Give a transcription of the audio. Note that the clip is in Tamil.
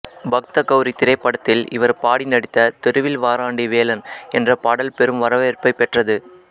பக்த கௌரி திரைப்படத்தில் இவர் பாடி நடித்த தெருவில் வாராண்டி வேலன் என்ற பாடல் பெரும் வரவேற்பைப் பெற்றது